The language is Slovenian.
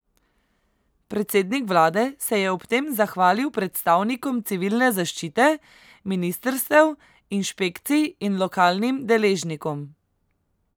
Predsednik vlade se je ob tem zahvalil predstavnikom civilne zaščite, ministrstev, inšpekcij in lokalnim deležnikom.